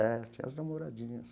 É, tinha as namoradinhas.